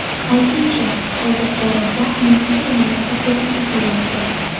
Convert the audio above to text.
Aytingchi, hozir jarrohlar nimaga tayanib operatsiya qilyapti?